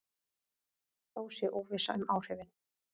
Þó sé óvissa um áhrifin.